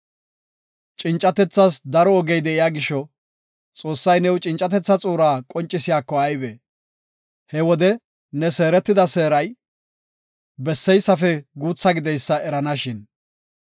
Cincatethas daro ogey de7iya gisho, Xoossay new cincatetha xuura qoncisiyako aybe! He wode ne seeretida seeray, besseysafe guutha gideysa eranashin.